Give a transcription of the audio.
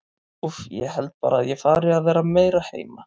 Úff, ég held bara að ég fari að vera meira heima.